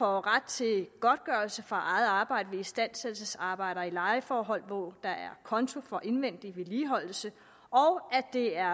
ret til godtgørelse for eget arbejde ved istandsættelsesarbejder i lejeforhold hvor der er konto for indvendig vedligeholdelse og at det er